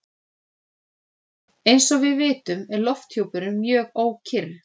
Eins og við vitum er lofthjúpurinn mjög ókyrr.